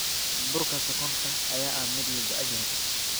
Burka sonkorta ayaa ah mid la jecel yahay.